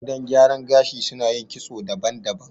Gidan gyaran gashi suna yin kitso daban-daban